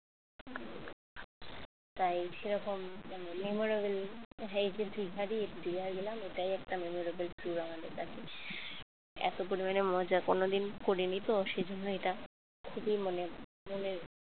তাই সেরকম memorable দিঘা গেলাম এটাই একটা memorable tour আমাদের কাছে এতগুলো মজা কোনদিন করিনি তো সেজন্য এটা খুবই মানে মনের